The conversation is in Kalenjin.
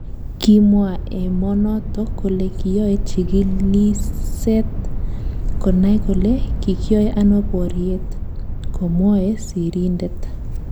Kimwa emonotok kole kiyoe chigilishet konai kole kikyoe ano boriet "komwoe sirindet.